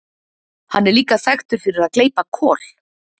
hann er líka þekktur fyrir að gleypa kol